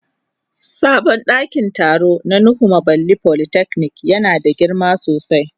Sabon dakin taro na nuhu bamalli polytechnic yana da girma sosai.